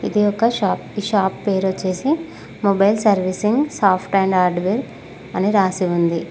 ఇది ఒక షాప్ ఇ షాప్ పేరు వచ్చేసి mobile servicing soft and hardware అని రాసి ఉంది.